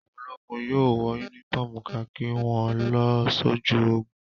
Àwọn ológun yóò wọ únífọ́ọ́mù kakí wọn lọ sójú ogun.